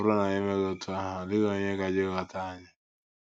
Ọ bụrụ na anyị emeghị otú ahụ, ọ dịghị onye gaje ịghọta anyị.